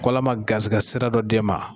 K'Ala ma garizigɛ sira dɔ d'e ma.